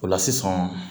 O la sisan